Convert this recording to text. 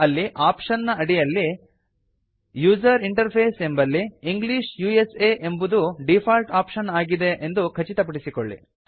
ಅಲ್ಲಿ ಆಪ್ಶನ್ ನ ಅಡಿಯಲ್ಲಿ ಯುಸರ್ ಇಂಟರ್ಫೇಸ್ ಎಂಬಲ್ಲಿ ಇಂಗ್ಲಿಷ್ ಉಸಾ ಎಂಬುದು ಡೀಫಾಲ್ಟ್ ಆಪ್ಶನ್ ಆಗಿ ಇದೆ ಎಂದು ಖಚಿತಪಡಿಸಿಕೊಳ್ಳಿ